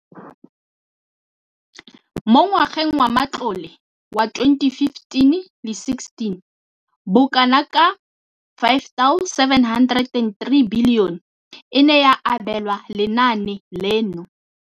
Mo ngwageng wa matlole wa 2015,16, bokanaka R5 703 bilione e ne ya abelwa lenaane leno.